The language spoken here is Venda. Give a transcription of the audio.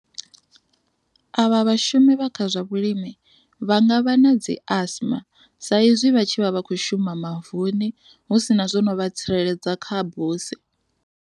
Avha vhashumi vha kha zwa vhulimi vha nga vha na dzi asma sa izwi vha tshi vha vha kho shuma mavuni hu si na zwo no vha tsireledza kha buse.